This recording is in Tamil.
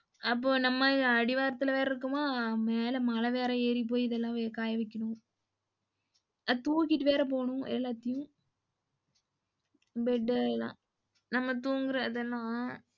அப்போ நம்ம அடிவாரத்துல வேற இருக்கோமா மேல மல வேறே ஏரிபோயி இதெல்லாம் காயவைக்கணும். தூக்கிட்டு வேற போனும் எல்லாத்தையும் bed இத லாம் தூங்குற இதெல்லாம்.